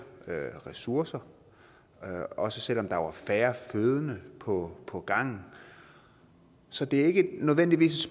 ressourcer også selv om der var færre fødende på på gangen så det er ikke nødvendigvis